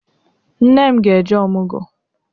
Nne m ga-eje ọmụgọ.